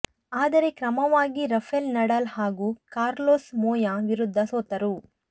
ಆದರೆ ಕ್ರಮವಾಗಿ Rafael Nadal ಹಾಗೂ ಕಾರ್ಲೊಸ್ ಮೊಯಾ ವಿರುದ್ಧ ಸೋತರು